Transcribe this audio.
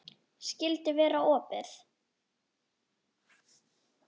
Skyldi vera opið?